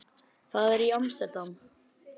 Það er í Amsterdam.